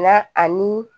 Na ani